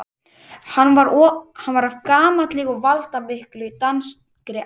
Hann var af gamalli og valdamikilli danskri ætt.